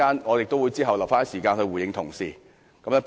我會預留一些時間在稍後回應同事的發言。